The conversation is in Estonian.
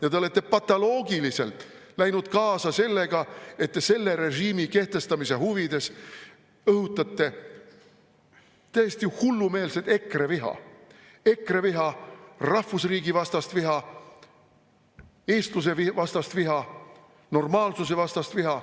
Ja te olete patoloogiliselt läinud kaasa sellega, et te selle režiimi kehtestamise huvides õhutate täiesti hullumeelset EKRE-viha, rahvusriigi vastast viha, eestluse vastast viha, normaalsuse vastast viha.